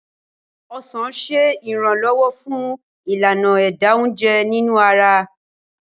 ọsán ṣe iranlọwọ fun Ìlànà ẹ̀dà oúnjẹ nínú ara